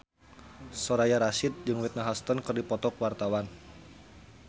Soraya Rasyid jeung Whitney Houston keur dipoto ku wartawan